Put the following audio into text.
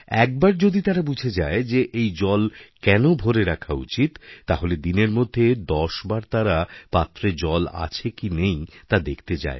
একবার যদি তারা বুঝে যায় যেএই জল কেন ভরে রাখা উচিত তাহলে দিনের মধ্যে দশবার তারা পাত্রে জল আছে কি নেই তাদেখতে যায়